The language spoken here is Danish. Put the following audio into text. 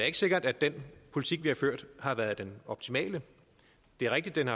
ikke sikkert at den politik vi har ført har været den optimale det er rigtigt at